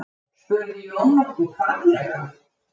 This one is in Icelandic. spurði Jón nokkuð hvatlega.